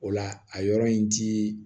O la a yɔrɔ in ti